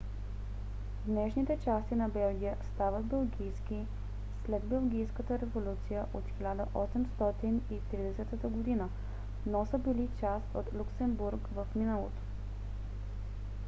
днешните части на белгия стават белгийски след белгийската революция от 1830 г. но са били част от люксембург в миналото